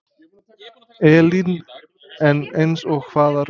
Elín: En eins og hvaða rök?